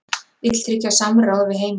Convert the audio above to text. Vill tryggja samráð við heimamenn